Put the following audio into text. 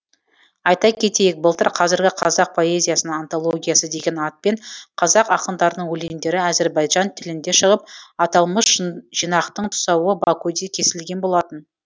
айта кетейік былтыр қазіргі қазақ поэзиясының антологиясы деген атпен қазақ ақындарының өлеңдері әзірбайжан тілінде шығып аталмыш жинақтың тұсауы бакуде кесілген болатын